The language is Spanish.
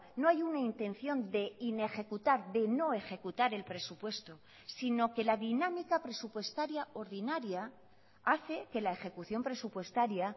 no hay una intención de inejecutar de no ejecutar el presupuesto sino que la dinámica presupuestaria ordinaria hace que la ejecución presupuestaria